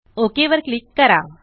okay वर click करा